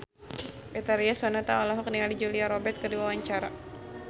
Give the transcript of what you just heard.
Betharia Sonata olohok ningali Julia Robert keur diwawancara